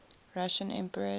russian emperors